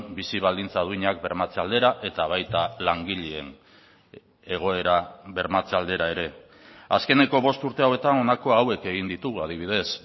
bizi baldintza duinak bermatze aldera eta baita langileen egoera bermatze aldera ere azkeneko bost urte hauetan honako hauek egin ditugu adibidez